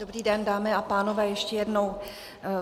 Dobrý den, dámy a pánové, ještě jednou.